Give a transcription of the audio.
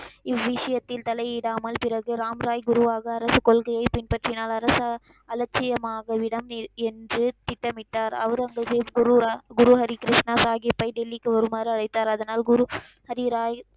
இவ்விஷயத்தில் தலையிடாமல் பிறகு ராம் ராய் குருவாக அரசு கொள்கையை பின்பற்றினார். அரசு அலட்சியமாக இவ்விடம் என்று திட்டமிட்டார். அவுரங்கசிப் குருராம், குரு ஹரி கிருஷ்ணா சாஹீபை டெல்லிக்கு வருமாறு அழைத்தார். அதனால் குரு ஹரி ராய்,